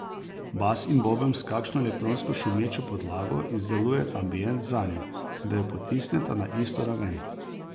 Bas in boben s kakšno elektronsko šumečo podlago izdelujeta ambient zanjo, da jo potisneta na isto raven.